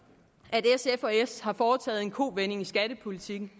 s har foretaget en kovending i skattepolitikken